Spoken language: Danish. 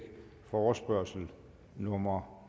forespørgsel nummer